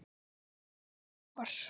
Þið eruð þjófar!